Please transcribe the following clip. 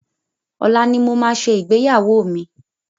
Ọ̀la ni mo máa ṣe ìgbéyàwó mi.